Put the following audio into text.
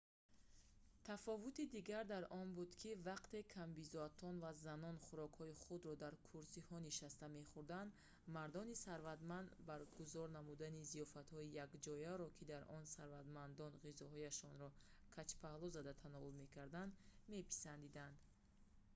тафовути дигар дар он буд ки вақте камбизоатон ва занон хӯрокҳои худро дар курсиҳо нишаста мехӯрданд мардони сарватманд баргузор намудани зиёфатҳои якҷояро ки дар он сарватмандон ғизояшонро каҷпаҳлӯ зада тановул мекарданд меписандиданд